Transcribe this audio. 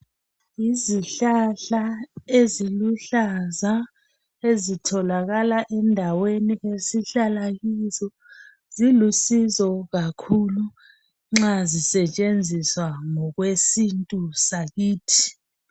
Yizihlahla eziluhlaza ezitholakala endaweni esihlala kizo. Zilusizo kakhulu nxa zisetshenziswa ngokwesintu sakithi.